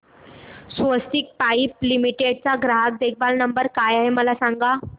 स्वस्तिक pipe limited चा ग्राहक देखभाल नंबर काय आहे मला सांगा